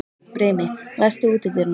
Brimi, læstu útidyrunum.